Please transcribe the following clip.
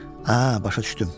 Hə, başa düşdüm.